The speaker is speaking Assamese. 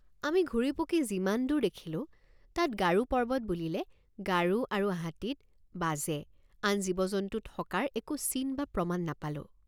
আমি ঘূৰিপকি যিমান দূৰ দেখিলোঁ তাত গাৰো পৰ্বত বুলিলে গাৰো আৰু হাতীত বাজে আন জীৱজন্তু থকাৰ একো চিন বা প্ৰমাণ নাপালোঁ।